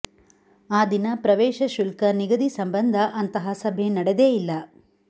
ಆ ದಿನ ಪ್ರವೇಶ ಶುಲ್ಕ ನಿಗದಿ ಸಂಬಂಧ ಅಂತಹ ಸಭೆ ನಡೆದೇ ಇಲ್ಲ